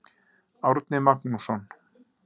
Árni Magnússon.